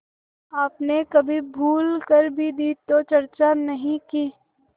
आपने कभी भूल कर भी दी तो चर्चा नहीं की